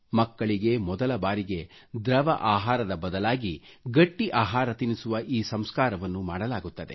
ಮಕ್ಕಳಿಗೆ ಮೊದಲ ಬಾರಿಗೆ ದ್ರವ ಆಹಾರದ ಬದಲಾಗಿ ಗಟ್ಟ್ಟಿ ಆಹಾರ ತಿನಿಸುವ ಈ ಸಂಸ್ಕಾರವನ್ನು ಮಾಡಲಾಗುತ್ತದೆ